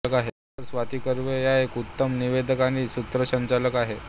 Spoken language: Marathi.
डाॅ स्वाती कर्वे या एक उत्तम निवेदक आणि सूत्रसंचालक आहेत